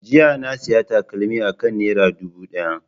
Jiya na sayi takalmi akan naira dubu daya.